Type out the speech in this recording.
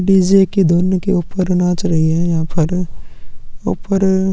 DJ की धुन के ऊपर नाच रहे है यहाँ पर ऊपर--